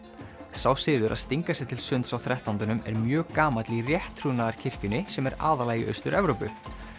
sá siður að stinga sér til sunds á þrettándanum er mjög gamall í rétttrúnaðarkirkjunni sem er aðallega í Austur Evrópu